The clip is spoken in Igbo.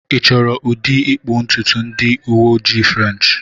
Ị chọrọ ụdị ịkpụ ntutu ndị uwe ojii French?